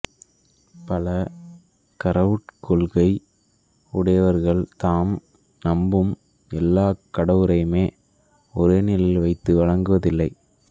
பல கடவுட் கொள்கை உடையவர்கள் தாம் நம்பும் எல்லாக் கடவுளரையுமே ஒரே நிலையில் வைத்து வணங்குவதில்லை